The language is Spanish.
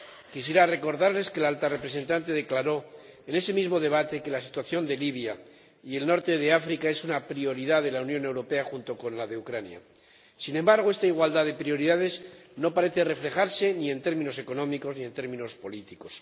Quisiera recordarles que la Alta Representante declaró en ese mismo debate que la situación de Libia y el norte de África es una prioridad de la Unión Europea junto con la de Ucrania. Sin embargo, esta igualdad de prioridades no parece reflejarse ni en términos económicos ni en términos políticos.